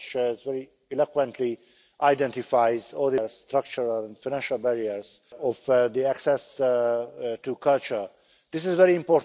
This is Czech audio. Kultura není záležitostí elit, ale všech bez rozdílu. Kultura je záležitostí natolik lidskou, že když o ni nebudeme pečovat, riskujeme mnohem více, než si myslíme.